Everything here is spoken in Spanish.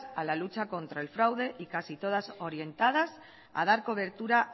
a la lucha contra el fraude y casi todas orientadas a dar cobertura